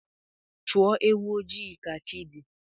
Chọọ ewu ojii ka chi dị